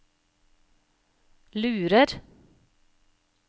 lurer